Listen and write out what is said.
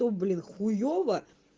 то блин хуёво